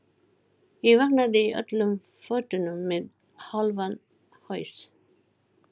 Ég vaknaði í öllum fötunum með hálfan haus.